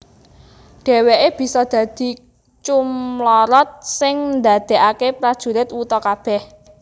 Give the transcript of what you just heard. Dheweké bisa dadi cumlorot sing ndadekaké prajurit wuta kabeh